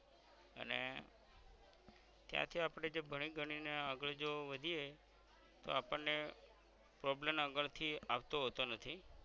ક્યાં ક્યાં આપણે જે ભણી ગણી ને આગળ જો વધીયે તોહ આપણ ને problem આગળ થી આવતો હોતો નથી